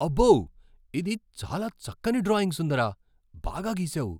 అబ్బో! ఇది చాలా చక్కని డ్రాయింగ్ సుందరా! బాగా గీసావు.